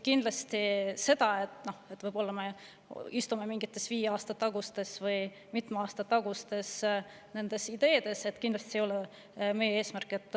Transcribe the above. See, et me mingites mitme aasta, näiteks viie aasta tagustes ideedes, kindlasti ei ole meie eesmärk.